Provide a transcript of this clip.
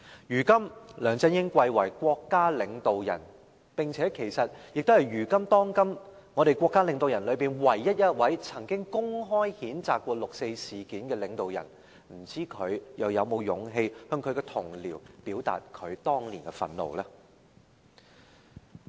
如今，梁振英貴為國家領導人，並且是當今的國家領導人之中，唯一一位曾經公開譴責六四事件的領導人，不知道他又是否有勇氣向他的同僚表達他當年的憤怒呢？